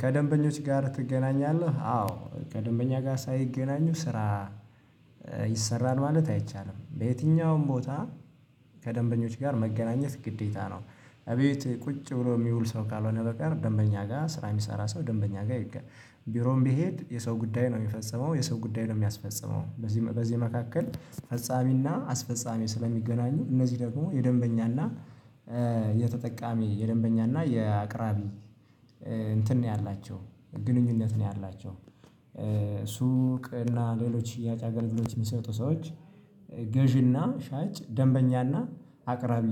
ከደንበኞች ጋር ትገናኛለህ አዎ ከደንበኛ ጋር ሳይገናኙ ስራ ይሰራል ማለት አይቻልም በየትኛውም ቦታ ከደንበኞች ጋር መገናኘት ግዴታ ነው። እቤት ቁጭ ብሎ የሚውል ሰው ካልሆነ በቀር ደንበኛ ጋር ስራ የሚሰራ ሰው ደንበኛ ጋር ይገናኛል። ቢሮም ቢሄድ የሰው ጉዳይ ነው የሚፈጽመው የሰው ጉዳይ ነው የሚያስፈጽመው። በዚህ በዚህ መካከል ፈጻሚና አስፈጻሚ ስለሚገናኙ እነዚህ ደግሞ የደንበኛና የተጠቃሚ የደንበኛና የአቅራቢ እንትን ነው ያላቸው ግንኙነት ነው ያላቸው። ሱቅ እና ሌሎች አገልግሎት የሚሰጡ ሰዎች ገዢና ሻጭ ደንበኛና አቅራቢ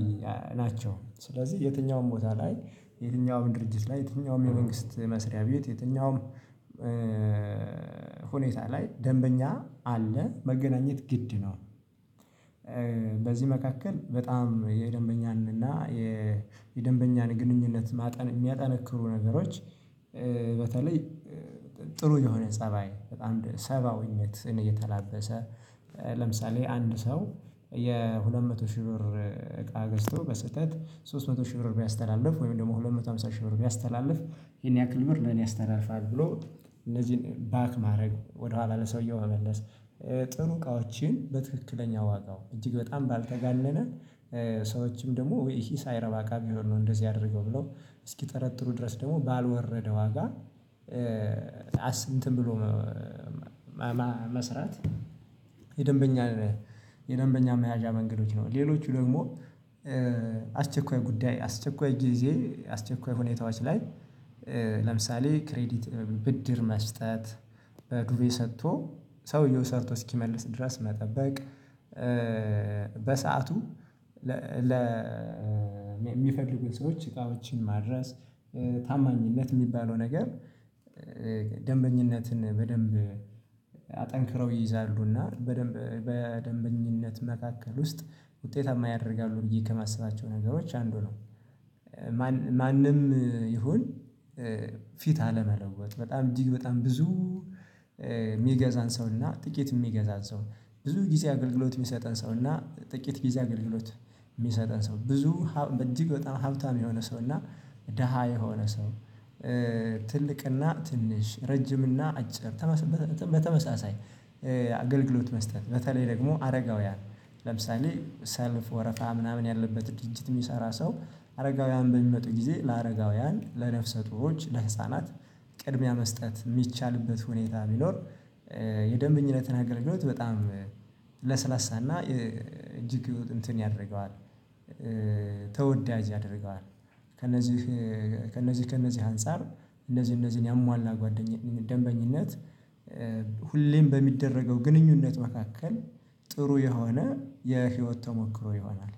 ናቸው። ስለዚህ የትኛውም ቦታ ላይ የትኛውም ድርጅት ላይ የትኛውም የመንግስት መስሪያ ቤት የትኛውም ሁኔታ ላይ ደንበኛ አለ መገናኘት ግድ ነው። በዚህ መካከል በጣም የደንበኛንና የደንበኛን ግንኙነት የሚያጠነክሩ ነገሮች በተለይ ጥሩ የሆነ ፀባይ በጣም ሰብአዊነትን እየተላበሰ ለምሳሌ አንድ ሰው። የሁለት መቶ ሺህ ብር እቃ ገዝቶ በስህተት ሶስት መቶ ሺህ ብር ቢያስተላልፍ ወይም ደግሞ ሁለት መቶ ሃምሳ ሺህ ብር ቢያስተላልፍ ይሄን ያክል ብር ነው አስተላልፈሃል ብሎ እነዚህን ባንክ ማድረግ ወደኋላ ለሰውየው መመለስ። ጥሩ እቃዎችን በትክክለኛ ዋጋው እጅግ በጣም ባልተጋነነ ሰዎችም ደግሞ ይሄ ሳይረባ ካም ይሆን ነው እንደዚህ አድርገው ብለው እስኪጠረጥሩ ድረስ ደግሞ ባልወረደ ዋጋ አስንትም ብሎ። መስራት የደንበኛ የደንበኛ መያዣ መንገዶች ነው። ሌሎቹ ደግሞ አስቸኳይ ጉዳይ አስቸኳይ ጊዜ አስቸኳይ ሁኔታዎች ላይ ለምሳሌ ክሬዲት ብድር መስጠት ብር ሰጥቶ ሰውየው ሰርቶ እስኪመልስ ድረስ መጠበቅ። በሰአቱ ለሚፈልጉት ሰዎች እቃዎችን ማድረስ። ታማኝነት የሚባለው ነገር ደንበኝነትን በደንብ አጠንክረው ይይዛሉ እና በደንብ በደንበኝነት መካከል ውስጥ ውጤታማ ያደርጋሉ ብዬ ከማስባቸው ነገሮች አንዱ ነው። ማንም ይሁን ፊት አለመስጠት በጣም እጅግ በጣም ብዙ የሚገዛን ሰው እና ጥቂት የሚገዛን ሰው ብዙ ጊዜ አገልግሎት የሚሰጠን ሰው እና ጥቂት ጊዜ አገልግሎት የሚሰጠን ሰው ብዙ በጣም ሀብታም የሆነ ሰው እና ደሃ የሆነ ሰው። ትልቅና ትንሽ ረጅም እና አጭር በተመሳሳይ አገልግሎት መስጠት በተለይ ደግሞ አረጋውያን ለምሳሌ ሰልፍ ወረፋ ምናምን ያለበት ድንችት የሚሰራ ሰው አረጋውያን በሚመጡ ጊዜ ለአረጋውያን ለነፍሰ ጡሮች ለህፃናት ቅድሚያ መስጠት የሚቻልበት ሁኔታ ቢኖር የደንብኝነትን አገልግሎት በጣም ለስላሳና እጅግ እንትን ያደርገዋል። ተወዳጅ ያደርገዋል። ከእነዚህ ከእነዚህ ከእነዚህ አንፃር እነዚህ እነዚህን ያሟላ ደንበኝነት ሁሌም በሚደረገው ግንኙነት መካከል ጥሩ የሆነ የህይወት ተሞክሮ ይሆናል።